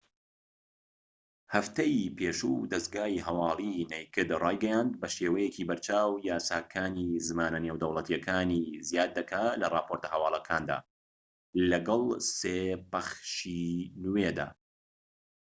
هەفتەی پێشوو دەزگای هەوالی نەیکد رایگەیاند بە شێوەیەکی بەرچاو یاساکانی زمانە نێودەوڵەتیەکانی زیاد دەکات لە راپۆرتە هەوالەکاندا لەگەڵ سێ پەخشی نوێدا